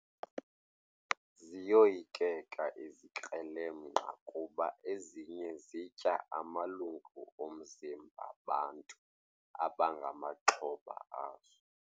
Ziyoyikeka izikrelemnqa kuba ezinye zitya amalungu omzimba bantu abangamaxhoba azo.